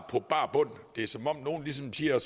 på bar bund det er som om nogle ligesom siger